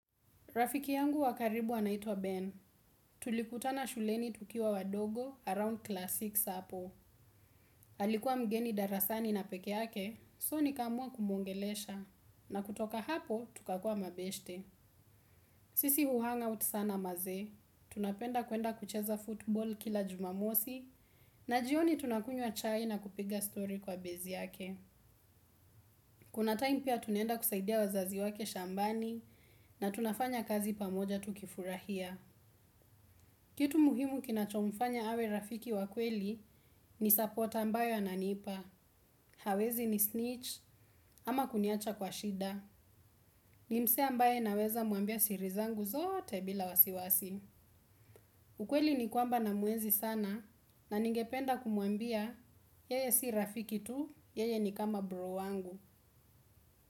Rafiki yangu wa karibu anaitwa Ben. Tulikutana shuleni tukiwa wadogo around class sita hapo. Halikuwa mgeni darasani na peke yake, soo nikamua kumuongelesha. Na kutoka hapo, tukakua mabeshte. Sisi huhang out sana manze. Tunapenda kwenda kucheza football kila jumamosi na jioni tunakunywa chai na kupiga story kwa base yake. Kuna time pia tunaenda kusaidia wazazi wake shambani, na tunafanya kazi pamoja tukifurahia. Kitu muhimu kinachomfanya awe rafiki wa kweli ni support ambayo ananipa hawezi nisnitch ama kuniacha kwa shida ni msee ambaye naweza mwambia siri zangu zote bila wasiwasi. Ukweli ni kwamba namuenzi sana na ningependa kumwambia yeye si rafiki tu, yeye ni kama bro wangu.